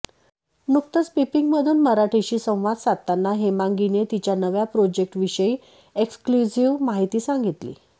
नुकतच पिपींगमून मराठीशी संवाद साधताना हेमांगीने तिच्या नव्या प्रोजेक्टविषयी एक्सक्लुझिव्ह माहिती सांगीतली